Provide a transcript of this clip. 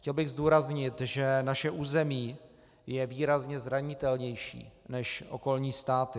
Chtěl bych zdůraznit, že naše území je výrazně zranitelnější než okolní státy.